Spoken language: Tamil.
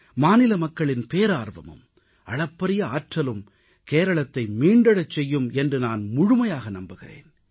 மாநில மக்களின் பேரார்வமும் அளப்பரிய ஆற்றலும் கேரளத்தை மீண்டெழச் செய்யும் என்று நான் முழுமையாக நம்புகிறேன்